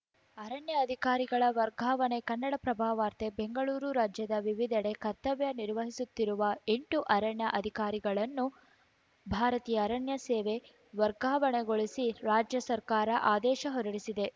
ಅರಣ್ಯ ಅಧಿಕಾರಿಗಳ ವರ್ಗಾವಣೆ ಕನ್ನಡಪ್ರಭ ವಾರ್ತೆ ಬೆಂಗಳೂರು ರಾಜ್ಯದ ವಿವಿಧೆಡೆ ಕರ್ತವ್ಯ ನಿರ್ವಹಿಸುತ್ತಿರುವ ಎಂಟು ಅರಣ್ಯ ಅಧಿಕಾರಿಗಳನ್ನು ಭಾರತೀಯ ಅರಣ್ಯ ಸೇವೆ ವರ್ಗಾವಣೆಗೊಳಿಸಿ ರಾಜ್ಯ ಸರ್ಕಾರ ಆದೇಶ ಹೊರಡಿಸಿದೆ